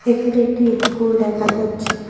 এখানে একটি ইস্কুল দেখা যাচ্ছে।